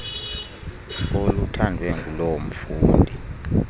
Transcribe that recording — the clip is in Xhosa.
oluthandwe nguloo mfundi